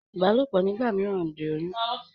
Ìbálòpọ̀ nígbà mìíràn ń di oyún.